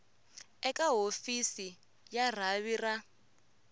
eka hofisi ya rhavi ra